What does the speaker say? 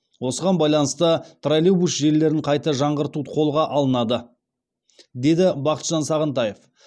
осыған байланысты троллейбус желілерін қайта жаңғырту қолға алынады деді бақытжан сағынтаев